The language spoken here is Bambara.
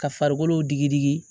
Ka farikolo digi digi